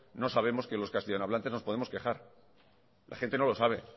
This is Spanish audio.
no sabemos que los castellanohablantes nos podemos quejar la gente no lo sabe